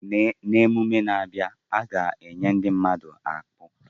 N'ememe na-abịa, a ga-enya ndi mmadu akpu.